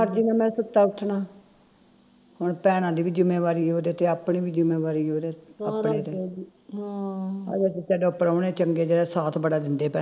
ਹੁਣ ਭੈਣਾਂ ਦੀ ਵੀ ਜਿੰਮੇਵਾਰੀ ਓਹਦੇ ਤੇ ਆਪਣੀ ਵੀ ਜਿੰਮੇਵਾਰੀ ਓਹਦੇ ਆਪਣੇ ਤੇ ਹਜੇ ਤੇ ਪ੍ਰਾਹੁਣੇ ਚੰਗੇ ਜਿਹੜੇ ਸਾਥ ਬੜਾ ਦਿੰਦੇ ਭੈਣਾਂ